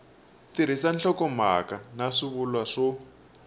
tirhisa nhlokomhaka na swivulwa swo